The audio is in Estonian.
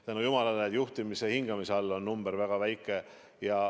Tänu jumalale, juhitaval hingamisel olevate number on väga väike.